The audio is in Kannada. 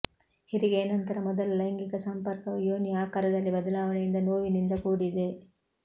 ಹೆರಿಗೆಯ ನಂತರ ಮೊದಲ ಲೈಂಗಿಕ ಸಂಪರ್ಕವು ಯೋನಿಯ ಆಕಾರದಲ್ಲಿ ಬದಲಾವಣೆಯಿಂದ ನೋವಿನಿಂದ ಕೂಡಿದೆ